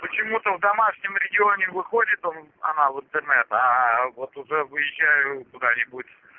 почему-то в домашнем регионе выходит он она в интернет а вот уже выезжаю куда-нибудь